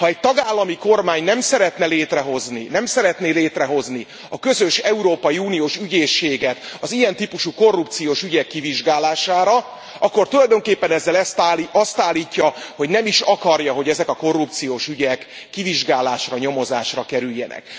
Ha egy tagállami kormány nem szeretné létrehozni a közös európai uniós ügyészséget az ilyen típusú korrupciós ügyek kivizsgálására, akkor tulajdonképpen ezzel azt állítja, hogy nem is akarja, hogy ezek a korrupciós ügyek kivizsgálásra, nyomozásra kerüljenek.